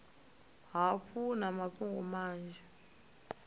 hafhu vha na mafhungo manzhi